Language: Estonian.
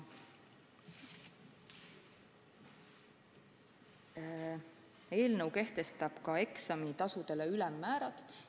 Eelnõu kehtestab eksamitasude ülemmäärad.